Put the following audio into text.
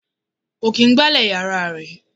Kò kín gbálè yàrá ẹ̀.